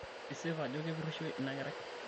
isip ako kepurisho ina kerai?